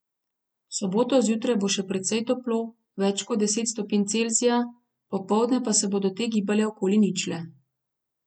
V soboto zjutraj bo še precej toplo, več kot deset stopinj Celzija, popoldne pa se bodo te gibale okoli ničle.